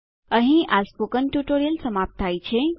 અહીં આ spoken tutorial સમાપ્ત થાય છે